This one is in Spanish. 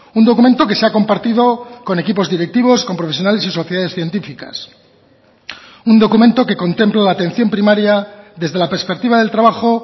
un documento que se ha compartido con equipos directivos con profesionales y sociedades científicas un documento que contempla la atención primaria desde la perspectiva del trabajo